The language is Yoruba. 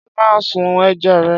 Ṣé ó máa ń sún ẹja rẹ?